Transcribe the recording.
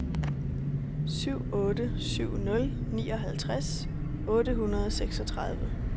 syv otte syv nul nioghalvtreds otte hundrede og seksogtredive